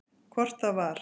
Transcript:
Hvort það var!